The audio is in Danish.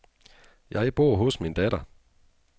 Jeg bor hos min datter.